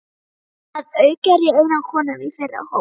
Að auki er ég eina konan í þeirra hópi.